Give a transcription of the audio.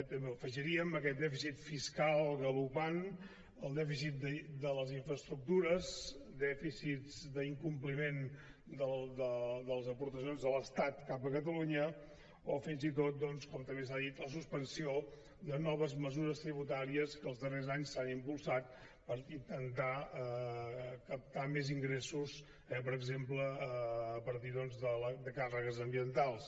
també afegiríem aquest dèficit fiscal galopant el dèficit de les infraestructures dèficits d’incompliment de les aportacions de l’estat cap a catalunya o fins i tot doncs com també s’ha dit la suspensió de noves mesures tributàries que els darrers anys s’han impulsat per intentar captar més ingressos per exemple a partir de càrregues ambientals